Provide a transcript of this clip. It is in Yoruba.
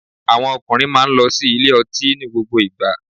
Àwọn ọkùnrin má a nlo sí ilé ọtí ní gbogbo ìgba